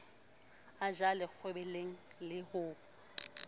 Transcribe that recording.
a jelle kgwebeleng le ho